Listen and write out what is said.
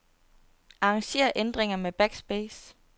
Arranger ændringer med backspace.